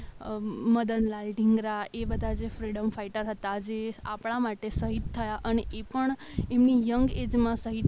અમ મદનલાલ ધીંગરા એ બધા જે ફ્રીડમ ફાઈટર હતા. જે આપણા માટે શહીદ થયા અને એ પણ એમની યંગ એજ માં શહીદ